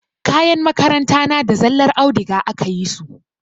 Kayan makaranta na da zallar audiga aka yi su.